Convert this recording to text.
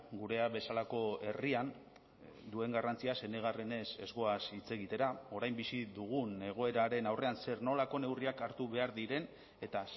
gurea bezalako herrian duen garrantziaz enegarrenez ez goaz hitz egitera orain bizi dugun egoeraren aurrean zer nolako neurriak hartu behar diren eta